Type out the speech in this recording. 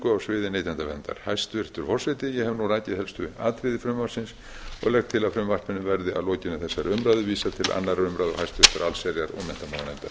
á sviði neytendaverndar hæstvirtur forseti ég hef nú rakið helst atriði frumvarpsins og laga til að frumvarpinu verði að lokinni þessari umræðu vísað til annarrar umræðu og háttvirtrar allsherjar og menntamálanefndar